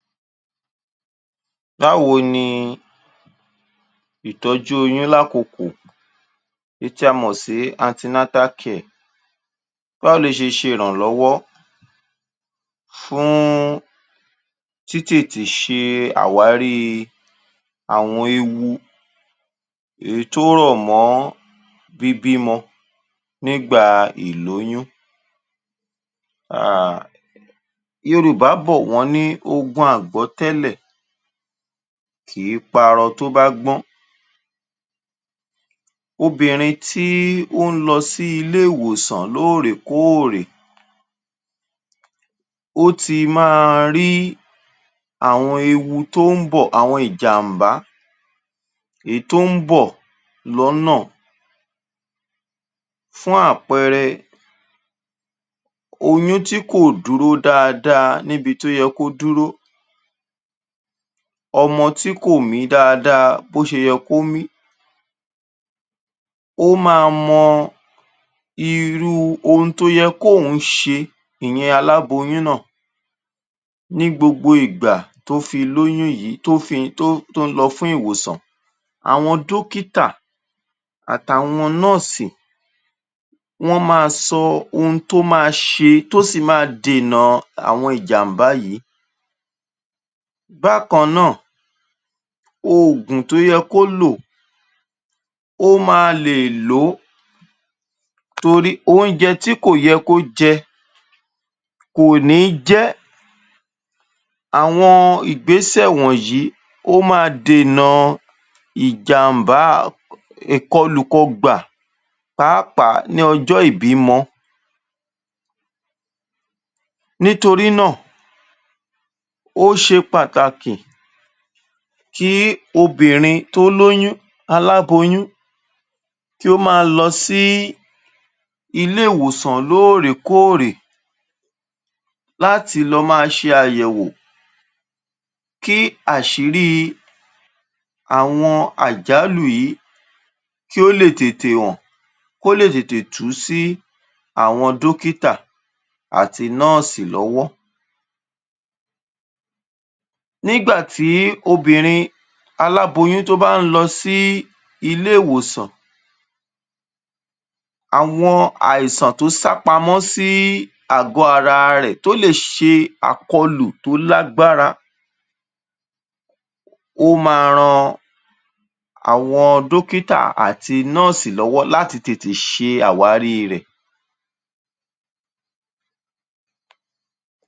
Báwo ni ìtọ́jú oyún lákokò, èyí tí a mọ̀ sí, báwo ló ṣe ṣe ìrànlọ́wọ́ fúún tìtètè ṣe àwárí àwọn ewu èyí tó rọ̀ mọ́ bíbímọ nígbàà ìlóyún? Um Yorùbá bọ̀ wọ́n ní ogun àgbọ́tẹ̀lẹ̀ kìí parọ tó bá gbọ́n. Obìnrin tíí ó ń lọ sí iléèwòsàn lóòrèkóòrè, ó ti máa rí àwọn ewu tó ń bọ̀, àwọn ìjàmbá èí tó ń bọ, ̀ lọ́nà. Fún àpẹẹrẹ, oyún tí kò dúró dáadáa níbi tó yẹ kó dúró, ọmọ tí kò míín dáadáa bó ṣe yẹ kó míín, ó máa mọ irúu ohun tó yẹ kóun ṣe, ìyẹn aláboyún náà, ní gbogbo ìgbà tó fi lóyún yìí, tó fi...tó ń...tó ń lọ fún ìwòsàn. Àwọn dọ́kítà àtàwọn nọ́ọ̀sì wọ́n máa sọ ohun tó máa ṣe tó sì ma dènàa àwọn ìjàmbá yìí. Bákan náà, oògùn tó yẹ kó lò, ó máa lè ló, torí oúnjẹ tí kò yẹ kó jẹ, kò níí jẹ́. Àwọn ìgbésẹ̀ wọ̀nyí ó ma dènà ìjàmbáá, kọlùkọgbà, pàápàá ní ọjọ́ ìbímọ. Nítorí náà, ó ṣe pàtàkì kí obìnrin tó lóyún, aláboyún, kí ó máa lọ sí iléèwòsàn lóòrèkóòrè láti lọ máa ṣe àyẹ̀wò kí àṣíríí àwọn àjálù yìí, kí ó lè tètè hàn, kó lè tètè tú sí àwọn dọ́kítà àti nọ́ọ̀sì lọ́wọ́. Nígbà tí obìnrin aláboyún tó bá ń lọ sí iléèwòsàn, àwọn àìsàn tó sápamọ́ sí àgọ́ ara rẹ̀ ó lè ṣe àkọlù tó lágbára ó máa ran àwọn dọ́kítà àti nọ́ọ̀sì lọ́wọ́ láti tètè ṣe àwárí rẹ̀.